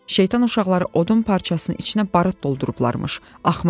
Şeytan uşaqları odun parçasının içinə barıt doldurublarmış, axmaqlar!